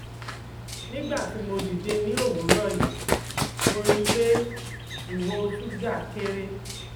nígbà tí mo dìde ní òwúrọ̀ yìí mo ri pé iwo suga kere